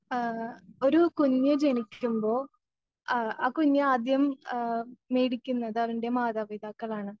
ആ ഒരു കുഞ്ഞ് ജനിക്കുമ്പോ അ ആ കുഞ്ഞ് ആദ്യം ആ മേടിക്കുന്നത് അതിൻ്റെ മാതാപിതാക്കളാണ്.